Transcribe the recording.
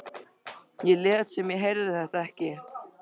Ég lét sem ég heyrði þetta ekki.